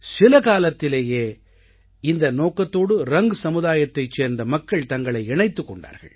சில காலத்திலேயே இந்த நோக்கத்தோடு ரங் சமூகத்தைச் சேர்ந்த மக்கள் தங்களை இணைத்துக் கொண்டார்கள்